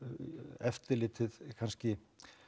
eftirlitið kannski